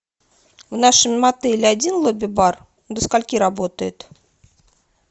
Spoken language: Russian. в нашем отеле один лобби бар до скольки работает